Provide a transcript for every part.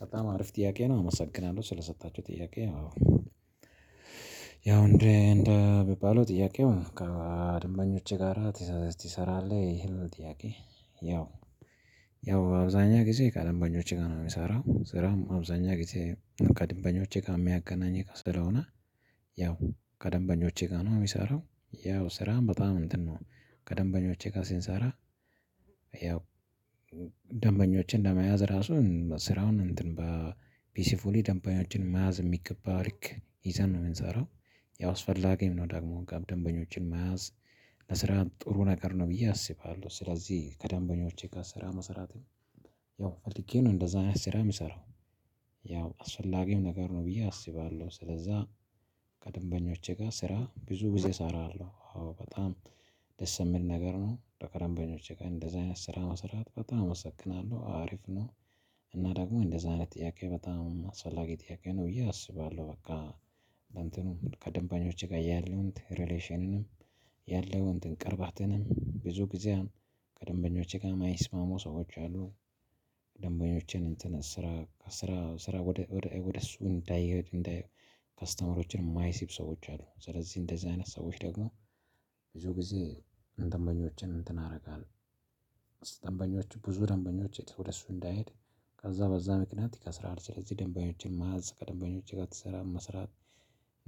በጣም አሪፍ ጥያቄ ነው አመሰግናለሁ ስለሰጣችሁኝ ጥያቄ አዎ። ያው እንደ እንደ ቢባለው ጥያቄው ከደንበኞች ጋራ ትሰራለህ ይሄ ነው ጥያቄ? ያው ያው አብዛኛ ጊዜ ከደንበኞቼ ጋር ነው የምሰራው ስራም አብዛኛ ጊዜ ከደንበኞቼ ጋር የሚያገናኘኝ ከስራ ስለሆነ። ያው ከደንበኞቼ ጋር ነው የሚሰራው ያው ስራም በጣም እንትን ነው ከደንበኞቼ ጋር ስንሰራ። ያው ደንበኞችን ለመያዝ ራሱን ስራውን እንትን በፒሲፉሊ ደንበኞችን መያዝ በሚገባ ልክ ይዘን ነው የምንሰራው። ያው አስፈላጊም ነው ደግሞ ጋር ደንበኞችን መያዝ። ለስራም ጥሩ ነገር ነው ብዬ አስባለሁ ስለዚህ ከደንበኞቼ ጋር ስራ መሰራትን። ያው ፈልጌ ነው እንደዛ አይነት ስራ የምሰራው። ያው አስፈላጊም ነገር ነው ብዬ አስባለሁ ስለዛ። ከደንበኞቼ ጋር ስራ ብዙ ጊዜ እሰራለሁ አዎ። በጣም ደስ የምል ነገር ከደንበኞቼ ጋር እንደዛ አይነት ስራ መስራት በጣም አመሰግናለሁ አሪፍ ነው። እና ደግሞ እንደዚህ አይነት ጥያቄ በጣም አስፈላጊ ጥያቄ ነው ብዬ አስባለሁ። በቃ በእንትኑ ከደንበኞቼ ጋር ያለውን ሪሌሽንንም ያለውን ቅርባትንም ብዙ ጊዜያን ከደንበኞቼ ጋር የማይስማሙ ሰዎች አሉ። ደንበኞችን እንትን ስራ ስራ ስራ ወደ እሱ እንዳይሄድ እንዳይሄድ ከስተመሮችን የማይስቡ ሰዎች አሉ ስለዚህ እንደዚህ አይነት ሰዎች ደግሞ። ብዙ ጊዜ ደንበኞችን እንትን አደርጋለሁ ደንበኞቹ ብዙ ደንበኞች ወደሱ እንዳይሄድ። ከዛ በዛ ምክንያት ይከስራል ስለዚህ ደንበኞችን ማዕዝ ከደንበኞች ጋር ስራ መስራት።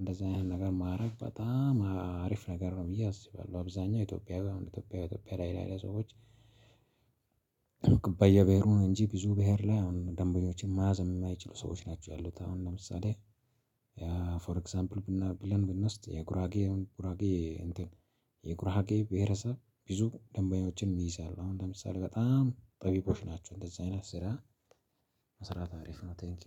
እንደዚህ አይነት ነገር ማረግ በጣም አሪፍ ነገር ነው ብዬ አስባለሁ። አብዛኛው ኢትዮጵያዊ አሁን ኢትዮጵያዊ አይነት ላይ ሰዎች። በየብሄሩ ብሄሩ እንጂ ብዙ ብሄር ላይ አሁን ደንበኞችን ማያዝ የማይችሉ ሰዎች ናቸው ያሉት አሁን ለምሳሌ። ፎር ኤግዛምፕል ብናደርግ ብለን ብንወስድ የጉራጌ ጉራጌ እንትን። የጉራጌ ብሄረሰብ ብዙ ደንበኞችን ይይዛል አሁን ለምሳሌ በጣም ጠቢቦች ናቸው እንደዚህ አይነት ስራ። መስራት አሪፍ ነው ቴንኪው